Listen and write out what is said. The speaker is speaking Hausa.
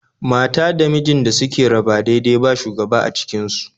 Mata da mijin da suke raba dai-dai ba shugaba a cikin su